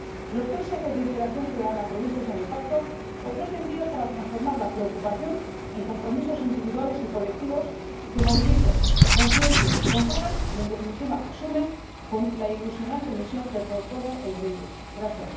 Los tres ejes de integración ciudadana previstos en el Pacto ofrecen vías para transformar la preocupación en compromisos individuales y colectivos que movilicen, conciencien, controlen y, en definitiva, sumen con la ilusionante misión que propone el Pacto Verde Europeo.